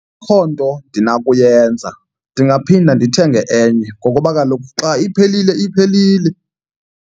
Akho nto ndinakuyenza ndingaphinda ndithenge enye ngokuba kaloku xa iphelile iphelile.